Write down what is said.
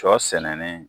Sɔ sɛnɛni